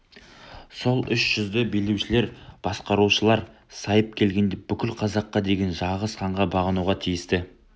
сол үш жүзді билеушілер басқарушылар сайып келгенде бүкіл қазаққа деген жалғыз ханға бағынуға тиісті